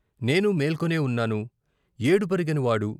నేనూ మేల్కొనే ఉన్నాను ఏడుపెరగని వాడు